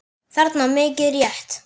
þarna, mikið rétt.